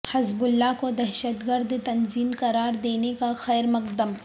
حزب اللہ کو دہشتگرد تنظیم قرار دینے کا خیر مقدم